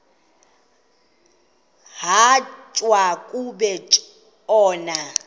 rhatya uku tshona